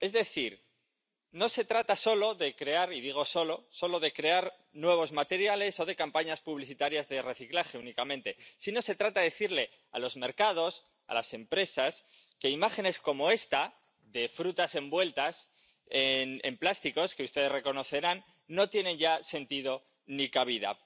Es decir, no se trata solo de crear —y digo solo— nuevos materiales o de campañas publicitarias de reciclaje únicamente, sino que se trata de decirle a los mercados, a las empresas, que imágenes como esta de frutas envueltas en plásticos, que ustedes reconocerán, no tienen ya sentido ni cabida.